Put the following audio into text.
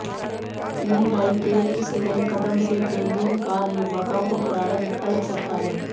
Hyundai के इस नये कदम से प्रीमियम कार निर्माताओं को करारा झटका लग सकता है